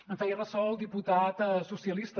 en feia ressò el diputat socialista